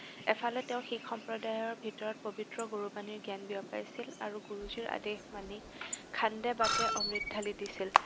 এফালে তেওঁ শিখ সম্প্ৰদায়ৰ ভিতৰত পৱিত্ৰ গুৰুবাণীৰ জ্ঞান বিয়পাইছিল আৰু গুৰুজীৰ আদেশ মানি খান্দে-বাতে অমৃত ধালি দিছিল।